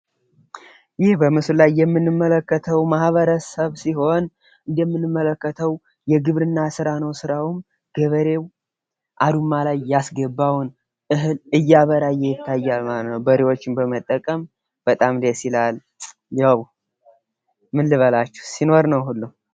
ይህ በምስሉ ላይ የምንመለከተው ማህበረሰብ ነው ማለት ነው። የሚተዳደረውም በግብርና ስራ ነው ማለት። ሁሉም የሚያምረው ሲኖር ነው ማለት ነው።